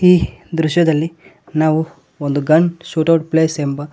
ಈ ದೃಶ್ಯದಲ್ಲಿ ನಾವು ಒಂದು ಗನ್ ಶೂಟ್ ಔಟ್ ಪ್ಲೇಸ್ ಎಂಬ--